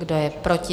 Kdo je proti?